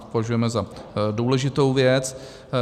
To považujeme za důležitou věc.